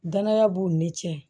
Danaya b'u ni cɛ